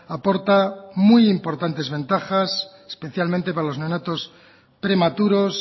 aporta muy importantes ventajas especialmente para los neonatos prematuros